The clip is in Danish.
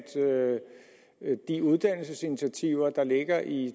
de uddannelsesinitiativer der ligger i